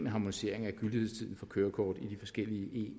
harmonisering af gyldighedstiden for kørekort i de forskellige